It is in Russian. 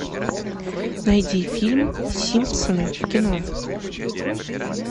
найди фильм симпсоны в кино